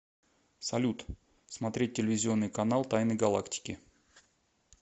салют смотреть телевизионный канал тайны галактики